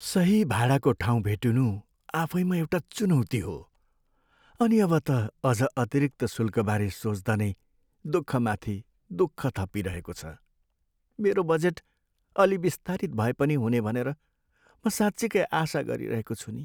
सही भाडाको ठाउँ भेटिनु आफैमा एउटा चुनौती हो, अनि अब त अझ अतिरिक्त शुल्कबारे सोच्दा नै दुःखमाथि दुःख थपिइरहेको छ। मेरो बजेट अलि बिस्तारित भए पनि हुने भनेर म साँच्चिकै आशा गरिरहेको छु नि।